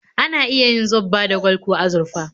Ana iya yin zobba da gwal ko azurfa